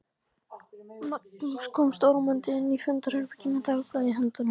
Magnús kom stormandi inn í fundarherbergið með dagblað í höndunum.